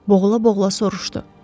Boğula-boğula soruşdu.